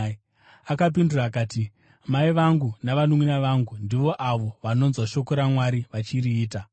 Akapindura akati, “Mai vangu navanunʼuna vangu ndivo avo vanonzwa shoko raMwari vachiriita.”